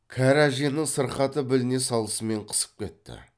кәрі әженің сырқаты біліне салысымен қысып кетті